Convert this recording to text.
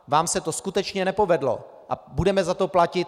Vám se to skutečně nepovedlo a budeme za to platit.